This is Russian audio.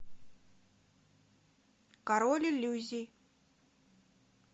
король иллюзий